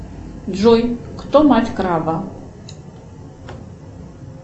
джой кто мать краба